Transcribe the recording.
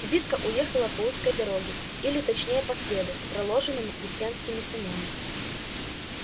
кибитка уехала по узкой дороге или точнее по следу проложенному крестьянскими санями